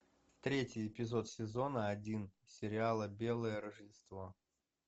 третий эпизод сезона один сериала белое рождество